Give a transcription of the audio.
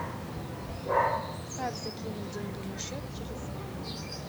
как закинуть деньги на счет телефона